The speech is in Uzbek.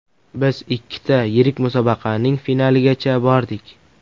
Biz ikkita yirik musobaqaning finaligacha bordik.